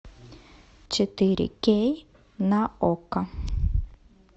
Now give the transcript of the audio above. четыре кей на окко